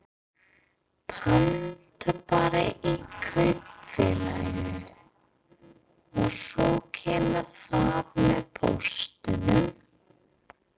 Pantar bara í kaupfélaginu og svo kemur það með póstinum?